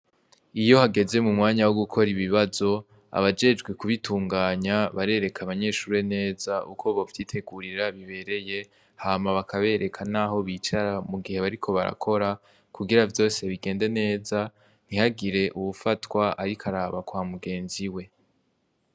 Iyo hageze m'umwanya wogukora ibibazo, abajejwe kubitunganya barereka abanyeshure neza uko bovyitegurira bibereye hama bakabereka naho bicara mugihe bariko barakora, kugira vyose bigende neza ,ntihagire uwufatwa ariko araba kwa mugenzi we.